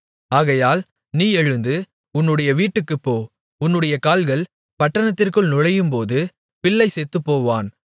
ஆகையால் நீ எழுந்து உன்னுடைய வீட்டுக்குப்போ உன்னுடைய கால்கள் பட்டணத்திற்குள் நுழையும்போது பிள்ளை செத்துப்போவான்